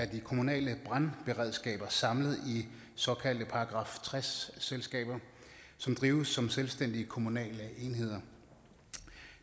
de kommunale brandberedskaber samlet i såkaldte § tres selskaber som drives som selvstændige kommunale enheder